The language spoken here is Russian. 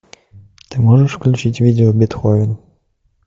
ты можешь включить видео бетховен